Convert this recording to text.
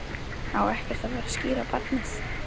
Á ekkert að fara að skíra barnið?